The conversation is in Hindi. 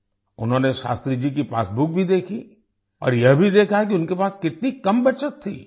उन्होंने शस्त्री जी की पासबुक भी देखी और यह भी देखा कि उनके पास कितनी कम बचत थी